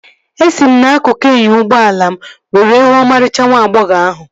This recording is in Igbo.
Esi m n'akụkụ inyo ụgbọala m were huu ọmarịcha nwa agbọghọ ahụ